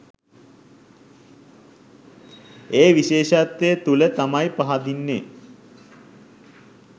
ඒ විශේෂත්වය තුළ තමයි පහදින්නේ